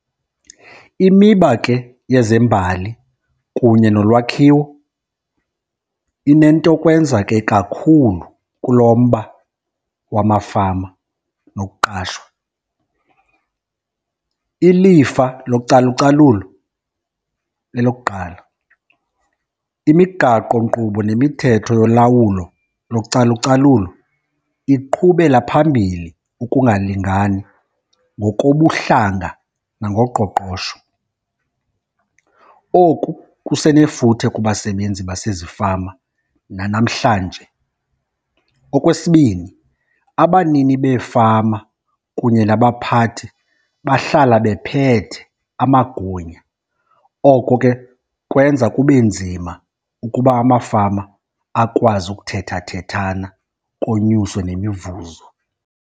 Imiba ke yezembali kunye nolwakhiwo inentokwenza ke kakhulu kulo mba wamafama nokuqashwa, ilifa localucalulo lelokuqala. Imigaqonkqubo nemithetho yolawulo localucalulo iqhubela phambili ukungalingani ngokobuhlanga nangoqoqosho. Oku kusenefuthe kubasebenzi basezifama nanamhlanje. Okwesibini, abanini beefama kunye nabaphathi bahlala bephethe amagunya. Oko ke kwenza kube nzima ukuba amafama akwazi ukuthethathethana konyuswe nemivuzo.